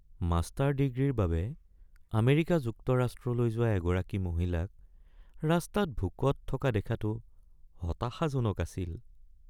Master ডিগ্ৰীৰ বাবে America যুক্তৰাষ্ট্ৰলৈ যোৱা এগৰাকী মহিলাক ৰাস্তাত ভোকত থকা দেখাটো হতাশাজনক আছিল।